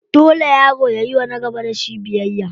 Dole yaro yayiwa na gaba da shi biyayya.